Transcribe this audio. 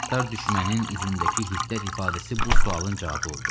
Qəddar düşmənin üzündəki hiddət ifadəsi bu sualın cavabı oldu.